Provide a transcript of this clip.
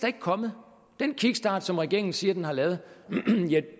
ikke kommet den kickstart som regeringen siger at den har lavet